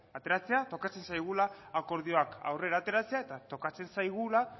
ateratzea tokatzen zaigula akordioak aurrera ateratzea eta tokatzen zaigula